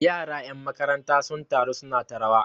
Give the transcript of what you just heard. yara 'yan makaranta sun taru suna ta rawa